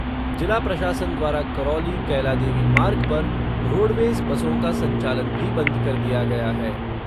जिला प्रशासन द्वारा करौली कैलादेवी मार्ग पर रोडवेज़ बसों का संचालन भी बंद कर दिया गया है।